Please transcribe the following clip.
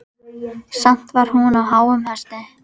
Samt var hún á háum hesti.